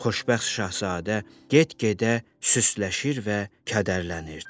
Xoşbəxt şahzadə get-gedə süsləşir və kədərlənirdi.